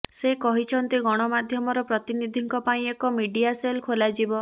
ସେ କହିଛନ୍ତି ଗଣମାଧ୍ୟମର ପ୍ରତିନିଧିଙ୍କ ପାଇଁ ଏକ ମିଡିଆ ସେଲ ଖୋଲାଯିବ